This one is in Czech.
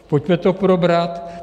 Pojďme to probrat.